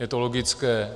Je to logické.